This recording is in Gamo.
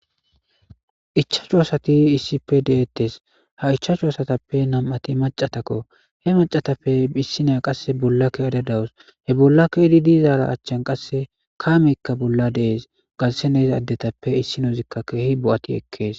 ichashu assati issippe dettesi ha ishashu assatappe nam'ati maccatakko he maccatappe issiniya qassi bolla keyadda dawusi bolla keyadda dizari achani qassi kameyika deyesi garissani dizagetupe issinoyi bo'ati ekesi